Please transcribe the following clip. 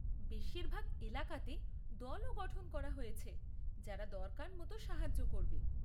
বেশিরভাগ এলাকাতে দলও গঠন করা হয়েছে যারা দরকার মতো সাহায্য করবে।